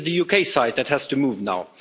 It is the UK side that has to move now.